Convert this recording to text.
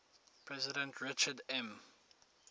president richard m